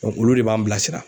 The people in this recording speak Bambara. olu de b'an bilasira